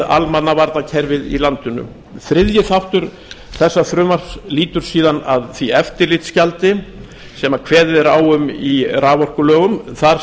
almannavarnakerfið í landinu þriðji þáttur þessa frumvarps lýtur síðan að því eftirlitsgjaldi sem kveðið er á um í raforkulögum þar